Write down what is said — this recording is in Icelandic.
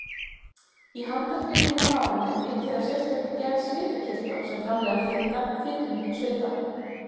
Í handarkrikum og nárum er mikið af sérstakri gerð svitakirtla sem framleiða þykkan, fitumikinn svita.